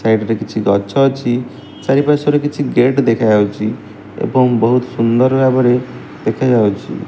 Side ରେ କିଛି ଗଛ ଅଛି ଚାରିପାର୍ଶ୍ୱରେ କିଛି ଗେଟ୍ ଦେଖାଯାଉଚି ଏବଂ ବହୁତ୍ ସୁନ୍ଦର ଭାବରେ ଦେଖାଯାଉଚି।